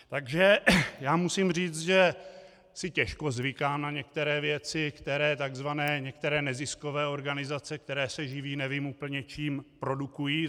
Takže já musím říct, že si těžko zvykám na některé věci, které takzvané některé neziskové organizace, které se živí nevím úplně čím, produkují.